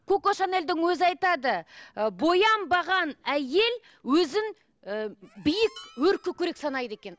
коко шанельдің өзі айтады ы боянбаған әйел өзін ы биік өркөкірек санайды екен